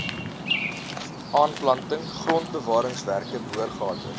aanplanting grondbewaringswerke boorgate